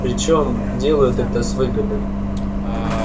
причём делают это с выгодой